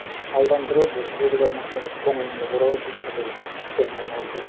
ы алдандыру бір белгілі нәрсеге көңілінді бұру бір іспен айналысу